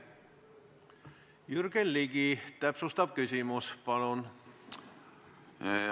Jürgen Ligi, täpsustav küsimus, palun!